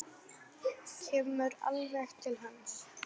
Kemur alveg til hans.